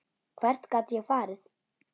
Hvert gat ég farið?